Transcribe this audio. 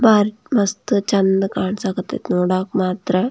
ಮಸ್ತ್ ಚಂದ್ ಕಾಂಸಾಕತೇತಿ ನೋಡಕ್ಕೆ ಮಾತ್ರ --